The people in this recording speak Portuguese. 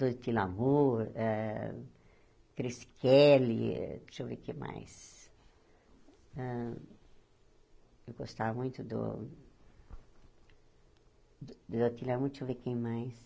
Duty Lamour, eh Chris Kelly, deixa eu ver quem mais... Hã eu gostava muito do... Duty Lamour, deixa eu ver quem mais...